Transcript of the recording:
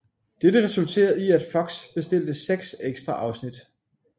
Dette resulterede i at FOX bestilte seks ekstra afsnit